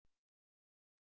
Hann yrði dýr.